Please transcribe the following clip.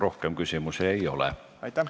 Rohkem küsimusi ei ole.